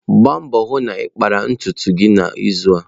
Gbaa mbọ hụ na ị kpara ntutu gị n'izu a.